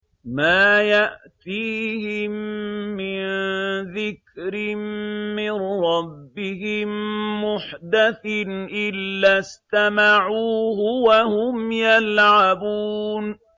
مَا يَأْتِيهِم مِّن ذِكْرٍ مِّن رَّبِّهِم مُّحْدَثٍ إِلَّا اسْتَمَعُوهُ وَهُمْ يَلْعَبُونَ